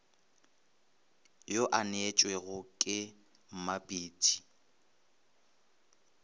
yo a neetšwego ke mmapatši